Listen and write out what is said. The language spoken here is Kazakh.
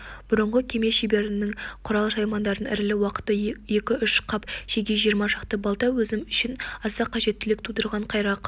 бұрынғы кеме шеберінің құрал-саймандарын ірілі-уақты екі-үш қап шеге жиырма шақты балта өзім үшін аса қажеттілік тудырған қайрақ